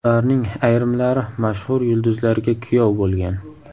Ularning ayrimlari mashhur yulduzlarga kuyov bo‘lgan.